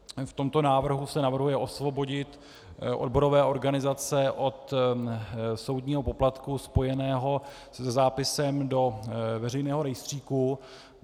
V tomto návrhu se navrhuje osvobodit odborové organizace od soudního poplatku spojeného se zápisem do veřejného rejstříku.